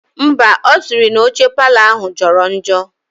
Ḿbà, osiri na oche parlour ahu joro njo.